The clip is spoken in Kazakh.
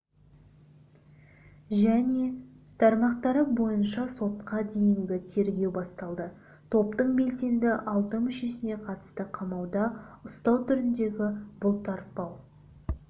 және тармақтары бойынша сотқа дейінгі тергеу басталды топтың белсенді алты мүшесіне қатысты қамауда ұстау түріндегі бұлтарпау